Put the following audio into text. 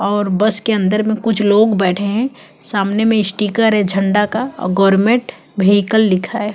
और बस के अंदर में कुछ लोग बैठे है सामने में स्टीकर है झडा का गोरमेंट विकल लिखा है।